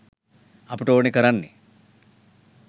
අපට ඕනෙ කරන්නේ